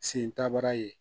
Sen tabara ye